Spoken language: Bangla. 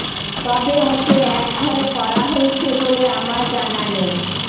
তবে ওঁকে একঘরে করা হয়েছে বলে আমার জানা নেই